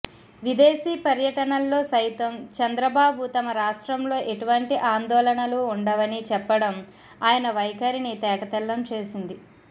విదేశీ పర్యటనల్లో సైతం చంద్రబాబు తమ రాష్ట్రంలో ఎటువంటి ఆందోళనలూ ఉండవని చెప్పడం ఆయన వైఖరిని తేటతెల్లం చేసింది